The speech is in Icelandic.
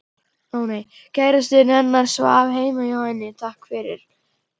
Kærastinn hennar svaf heima hjá henni, takk fyrir